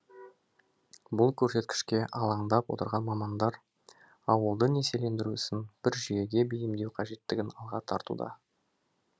бұл көрсеткішке алаңдап отырған мамандар ауылды несиелендіру ісін бір жүйеге бейімдеу қажеттігін алға тартуда